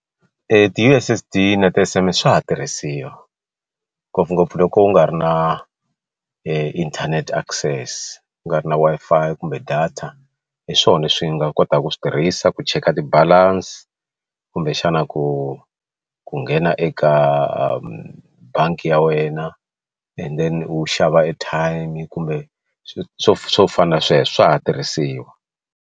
Ti U_S_S_D na ti S_M_S swa ha tirhisiwa ngopfungopfu loko u nga ri na inthanete access ku nga ri na Wi-Fi kumbe data hi swona leswi nga kotaka ku swi tirhisa ku cheka ti balance kumbexana ku ku nghena eka bangi ya wena and then u xava airtime kumbe swo swo swo fana na sweswo swa ha tirhisiwa.